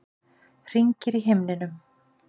Hringir í himninum.